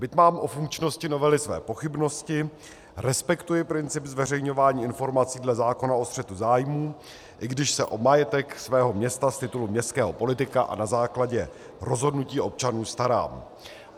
Byť mám o funkčnosti novely své pochybnosti, respektuji princip zveřejňování informací dle zákona o střetu zájmů, i když se o majetek svého města z titulu městského politika a na základě rozhodnutí občanů starám.